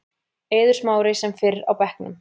Eiður Smári sem fyrr á bekknum